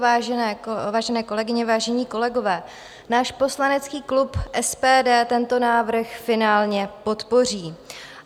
Vážené kolegyně, vážení kolegové, náš poslanecký klub SPD tento návrh finálně podpoří.